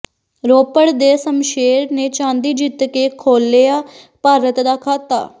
ਰੋਪੜ ਦੇ ਸ਼ਮਸ਼ੇਰ ਨੇ ਚਾਂਦੀ ਜਿੱਤ ਕੇ ਖੋਲਿ੍ਹਆ ਭਾਰਤ ਦਾ ਖਾਤਾ